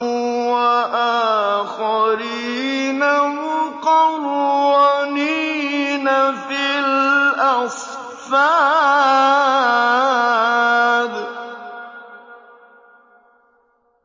وَآخَرِينَ مُقَرَّنِينَ فِي الْأَصْفَادِ